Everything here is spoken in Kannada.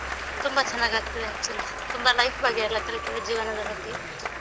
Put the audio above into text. ತುಂಬ ಚೆನ್ನಾಗಾಗ್ತಿದೆ actually. ತುಂಬ life ಬಗ್ಗೆ ಎಲ್ಲ ಕಲಿತೇವೆ ಜೀವನದ ಬಗ್ಗೆ.